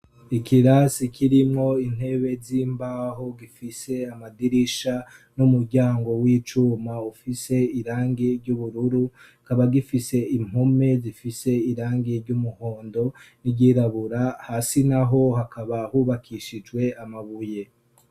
Ikirasi kirimwo intebe z'imbaho gifise amadirisha n'umuryango w'icuma ufise irangi ry'ubururu, kikaba gifise impome zifise irangi ry'umuhondo n'iryirabura, hasi naho hakaba hubakishijwe amabuye.